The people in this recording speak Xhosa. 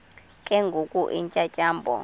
ke ngoko iintyatyambo